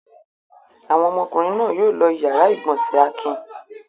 Àwọn ọmọkùnrin náà yóò lo ìyàrá-ìgbọ̀nsẹ̀ Akin.